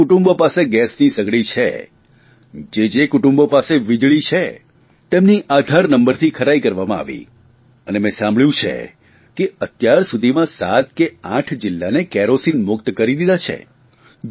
જે જે કુટુંબો પાસે ગેસની સગડી છે જે જે કુટુંબો પાસે વીજળી છે તેમનો આધાર નંબરથી ખરાઇ કરવામાં આવી અને મેં સાંભળ્યું છે કે અત્યારસુધીમાં સાત કે આઠ જિલ્લાને કેરોસીનમુક્ત કરી દીધા છે